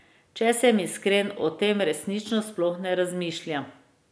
Če sem iskren, o tem resnično sploh ne razmišljam.